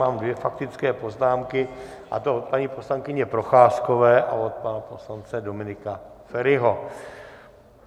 Mám dvě faktické poznámky, a to od paní poslankyně Procházkové a od pana poslance Dominika Feriho.